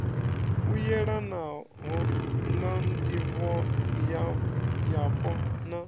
u yelanho na ndivhoyapo na